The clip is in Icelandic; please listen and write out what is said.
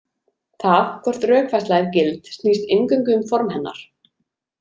Það hvort rökfærsla er gild snýst eingöngu um form hennar.